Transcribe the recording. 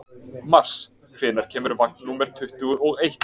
Mars, hvenær kemur vagn númer tuttugu og eitt?